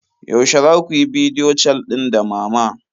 Yaushe za ku yi bidiyo cal din da mama?